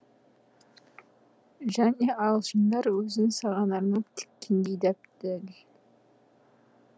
және ағылшындар өзін саған арнап тіккендей дәп дәл